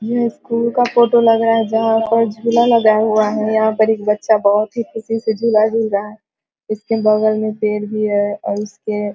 यह इस स्कूल का फोटो लगा है जहाँ पर झूला लगा हुआ है। यहाँ पर एक बच्चा बोहोत ही ख़ुशी से झूला झूल रहा है और इसके बगल में पेड़ भी है और इसके --